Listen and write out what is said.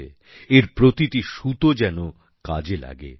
এর প্রতিটি সুতো যেন কাজে লাগে